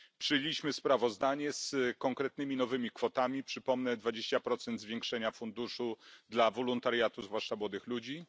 Przyjęliśmy sprawozdanie z konkretnymi nowymi kwotami, przypomnę dwadzieścia procent zwiększenia funduszu dla wolontariatu zwłaszcza młodych ludzi.